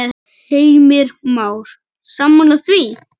Heimir Már: Sammála því?